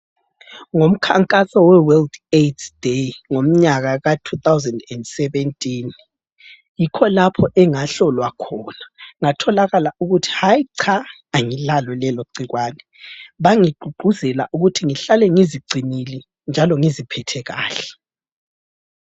Ngomkhankaso we World AIDS day, ngomnyaka ka 2017, yikho lapho engahlolwa khona ngatholakala ukuthi hayi cha angilalo leligciwane! Bangigqugquzela ukuthi ngihlale ngizigcinile njalo ngiziphethe kahle.